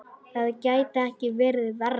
Það gæti ekki verið verra.